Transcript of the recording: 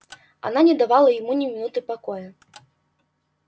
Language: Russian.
она не давала ему ни минуты покоя